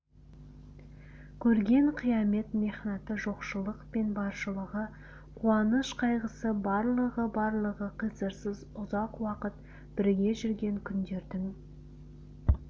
көрген қиямет мехнаты жоқшылық пен баршылығы қуаныш-қайғысы барлығы барлығы қиырсыз ұзақ уақыт бірге жүрген күндердің